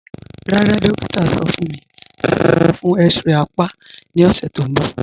Rárá, dòkítà sọ̀ fún mí láti wà fún x-ray àpá ni ọṣẹ̀ tó nbọ̀